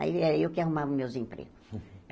Aí era eu que arrumava os meus empregos.